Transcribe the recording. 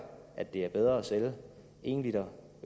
at det er bedre at sælge en l